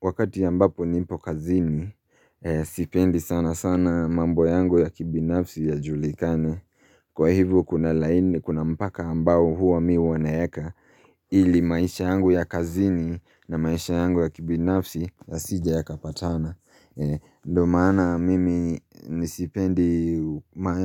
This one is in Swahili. Wakati ambapo nipo kazini, sipendi sana sana mambo yangu ya kibinafsi yajulikane. Kwa hivo kuna mpaka ambao huwa mimi huwa naeka ili maisha yangu ya kazini na maisha yangu ya kibinafsi yasije yakapatana. Ndio maana mimi sipendi